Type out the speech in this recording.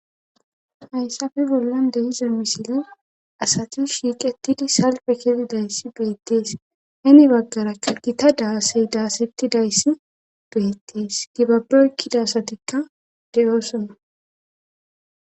Hayssafe bollan deyiza misile asatu shiiqetidi salpe kedidayssi beettees heni baggarakka dita daasey daasettidayssi beettees gibaboykkida asatikka de7oosona